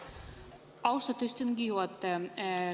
Austatud istungi juhataja!